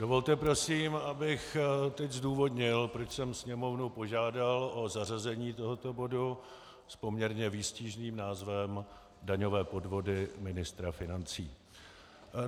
Dovolte, prosím, abych teď zdůvodnil, proč jsem Sněmovnu požádal o zařazení tohoto bodu s poměrně výstižným názvem Daňové podvody ministra financí.